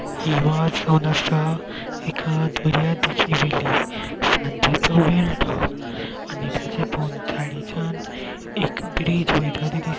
हि मार्ज जावन आसा एका सांजेचो वेळ तो आनी ताज्या भोवतडीच्यान एक ब्रीज वयता ते दिस --